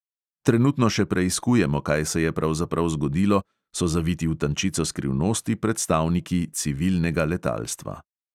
Trenutno še preiskujemo, kaj se je pravzaprav zgodilo, so zaviti v tančico skrivnosti predstavniki civilnega letalstva.